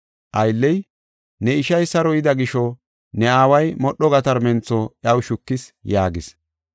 Aylley, ‘Ne ishay saro yida gisho ne aaway modho gatarmentho iyaw shukis’ yaagis.